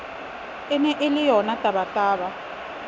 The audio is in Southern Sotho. e ne e le yonatabataba